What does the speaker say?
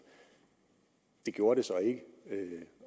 det gjorde det så ikke